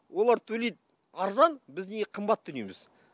олар төлейді арзан біз неге қымбат төлейміз